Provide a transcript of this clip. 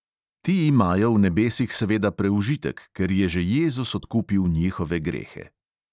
Ti imajo v nebesih seveda preužitek, ker je že jezus odkupil njihove grehe.